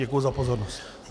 Děkuji za pozornost.